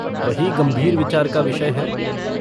वही गम्भीर विचार का विषय है।